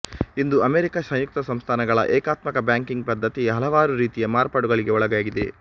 ಇಂದು America ಸಂಯುಕ್ತ ಸಂಸ್ಥಾನಗಳ ಏಕಾತ್ಮಕ ಬ್ಯಾಂಕಿಂಗ್ ಪದ್ಧತಿ ಹಲವಾರು ರೀತಿಯ ಮಾರ್ಪಾಡುಗಳಿಗೆ ಒಳಗಾಗಿದೆ